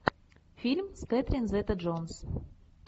фильм с кэтрин зета джонс